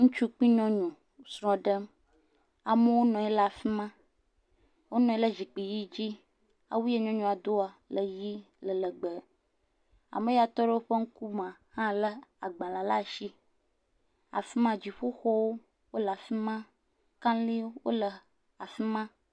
Ŋutsu kpli nyɔnu wo srɔ̃ ɖem, amewo nɔ anyi ɖe afi ma, wonɔ anyi ɖe zikpui ʋɛ̃ dzi. Awu ya nyɔnua doa le ʋɛ̃, le legbee. Ame ya tɔ ɖe woƒe ŋkumea, hã lé agbalẽ le asi, afi ma, dziƒoxɔwo wole afi ma, kaliwo wole afi ma.